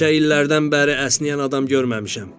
Neçə illərdən bəri əsnəyən adam görməmişəm.